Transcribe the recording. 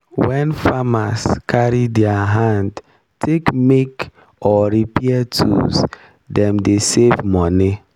wen farmer carry diir hand take make or repair tools dem dey save moni.